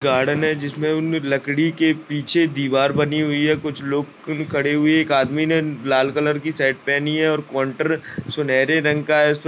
garden है जिसमें उनमें लकड़ी के पीछे दीवार बनी हुई है कुछ लोग ख खड़े हुए है एक आदमी ने लाल कलर की शर्ट पहनी है और काउंटर सुनहरे रंग का है उसपे --